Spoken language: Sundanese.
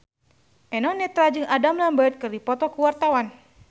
Eno Netral jeung Adam Lambert keur dipoto ku wartawan